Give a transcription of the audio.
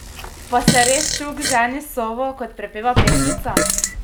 Pa se res čuk ženi s sovo, kot prepeva pesmica?